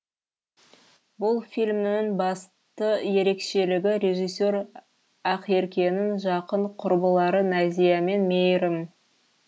бұл фильмнің басты ерекшелігі режиссер ақеркенің жақын құрбылары назия мен мейірім